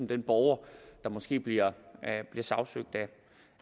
den borger der måske bliver sagsøgt